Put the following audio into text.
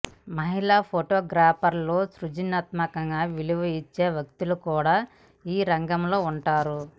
మహిళా ఫొటోగ్రాఫర్ల సృజనాత్మకతను విలువ ఇచ్చే వ్యక్తులు కూడా ఈ రంగంలో ఉంటారు